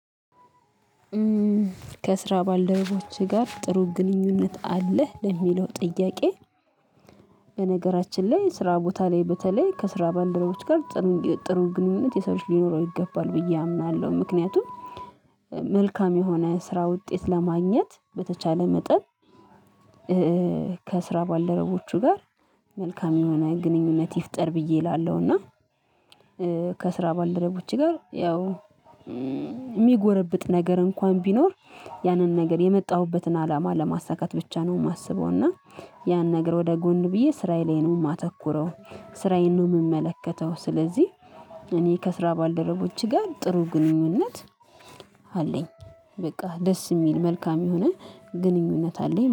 ከስራ ባልደበቦችህ ጋር ጥሩ ግንኙነት አለህ ለሚለው ጥያቄ? በነገራችን ላይ ስራ ቦታ ላይ በተለይ ከስራ ባልደረቦች ጋር ጥሩ ግንኙነት ከሰዎች ሊኖረው ይገባል ብዬ አምናለሁ። ምክንያቱም መልካም የሆነ ስራ ውጤት ለማግኘት በተቻለ መጠን። ከስራ ባልደረቦቹ ጋር መልካም የሆነ ግንኙነት ይፍጠር ብዬ እላለሁ። እና ከስራ ባልደረቦች ጋር ያው የሚጎረብጥ ነገር እንኳን ቢኖር ያንን ነገር የመጣሁበትን አላማ ለማሳካት ብቻ ነው የማስበው። እና ያን ነገር ወደ ጎን ብዬ ስራዬን ነው የማተኩረው ስራዬን ነው የምመለከተው። ስለዚህ እኔ ከስራ ባልደረቦችህ ጋር ጥሩ ግንኙነት አለኝ። በቃ ደስ የሚል መልካም የሆነ ግንኙነት አለኝ